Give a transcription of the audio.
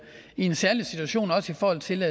i en særlig situation også i forhold til